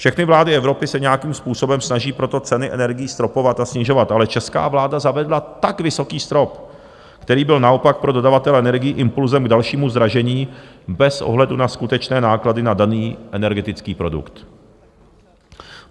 Všechny vlády Evropy se nějakým způsobem snaží proto ceny energií stropovat a snižovat, ale česká vláda zavedla tak vysoký strop, který byl naopak pro dodavatele energií impulzem k dalšímu zdražení bez ohledu na skutečné náklady na daný energetický produkt.